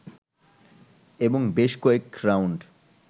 এবং বেশ কয়েক রাউন্ড